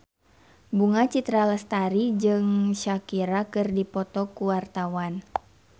Bunga Citra Lestari jeung Shakira keur dipoto ku wartawan